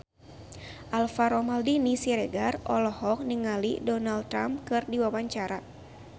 Alvaro Maldini Siregar olohok ningali Donald Trump keur diwawancara